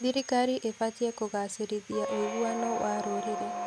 Thirikari ĩbatiĩ kũgacĩrithia ũiguano wa rũrĩrĩ.